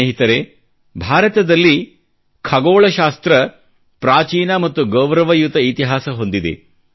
ಸ್ನೇಹಿತರೆ ಭಾರತದಲ್ಲಿ ಖಗೋಳಶಾಸ್ತ್ರ ಪ್ರಾಚೀನ ಮತ್ತು ಗೌರವಯುತ ಇತಿಹಾಸ ಹೊಂದಿದೆ